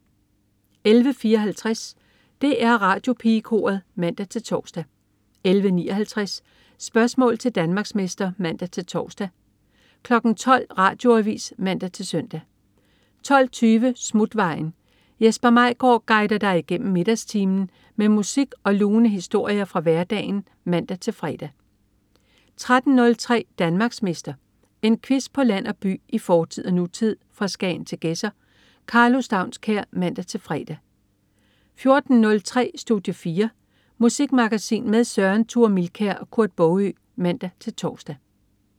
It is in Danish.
11.54 DR Radiopigekoret (man-tors) 11.59 Spørgsmål til Danmarksmester (man-tors) 12.00 Radioavis (man-søn) 12.20 Smutvejen. Jesper Maigaard guider dig igennem middagstimen med musik og lune historier fra hverdagen (man-fre) 13.03 Danmarksmester. En quiz på land og by, i fortid og nutid, fra Skagen til Gedser. Karlo Staunskær (man-fre) 14.03 Studie 4. Musikmagasin med Søren Thure Milkær og Kurt Baagø (man-tors)